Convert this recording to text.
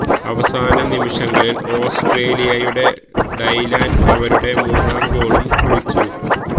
അവസാന നിമിഷങ്ങളില് ഓസ്ട്രേലിയയുടെ ഡൈലാന് അവരുടെ മൂന്നാം ഗോളും കുറിച്ചു